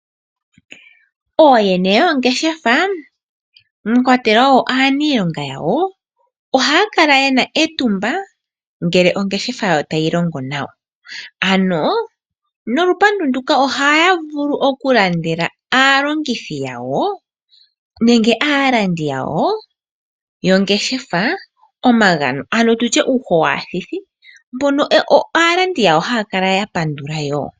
Ooyene yoongeshefa mwakwatelwa aaniilonga yawo ohaya kala yena etumba uuna ongeshefa tayi ende nawa. Ohaya vulu okulandela aalandi yawo omagano ano uuho waathithi naalandi yawo ohaya kala ya pandula.